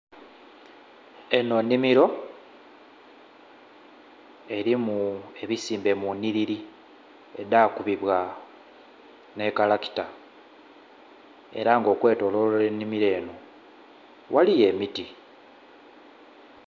Eno nnhimiro erimu ebisimbe munhiriri edhakubibwa n'ekalakita era nga okwetololwa enhimiro eno ghaligho emiti.